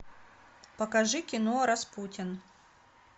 покажи кино распутин